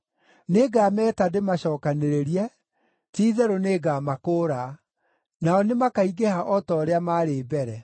Nĩngameta ndĩmacookanĩrĩrie. Ti-itherũ nĩngamakũũra; nao nĩmakaingĩha o ta ũrĩa maarĩ mbere.